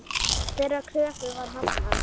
Þeirri kröfu var hafnað.